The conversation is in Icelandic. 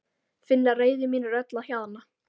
Finn að reiði mín er öll að hjaðna.